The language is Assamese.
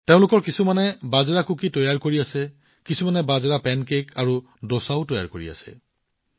তেওঁলোকৰ কিছুমানে বাজৰাৰ কুকি তৈয়াৰ কৰি আছে আনহাতে কিছুমানে বাজৰাৰ পেন কেক আৰু দোচাও তৈয়াৰ কৰি আছে